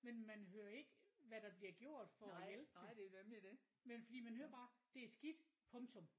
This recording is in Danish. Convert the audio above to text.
Men man hører ikke hvad der bliver gjort for at hjælpe det men fordi man hører bare det er skidt punktum